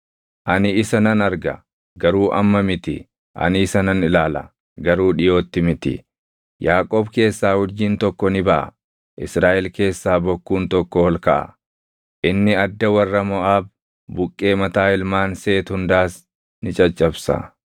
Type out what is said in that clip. “Ani isa nan arga; garuu amma miti; ani isa nan ilaala; garuu dhiʼootti miti. Yaaqoob keessaa urjiin tokko ni baʼa; Israaʼel keessaa bokkuun tokko ol kaʼa. Inni adda warra Moʼaab, buqqee mataa ilmaan Seet hundaas ni caccabsa.